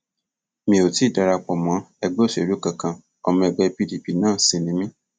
mi ò tí ì dara pọ mọ ẹgbẹ òṣèlú kankan ọmọ ẹgbẹ pdp náà sì ni mí